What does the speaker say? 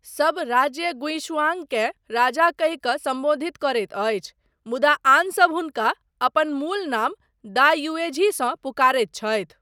सब राज्य गुइशुआंगकेँ राजा कहि कऽ सम्बोधित करैत अछि, मुदा आनसब हुनका अपन मूल नाम दा युएझीसँ पुकारैत छथि ।